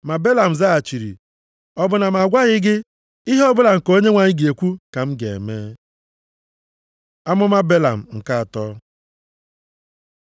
Ma Belam zaghachiri, “Ọ bụ na m agwaghị gị, ihe ọbụla nke Onyenwe anyị ga-ekwu ka m ga-eme?” Amụma Belam nke atọ